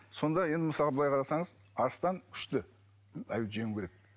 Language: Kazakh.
сонда енді мысалы былай қарасаңыз арыстан күшті аюды жеңуі керек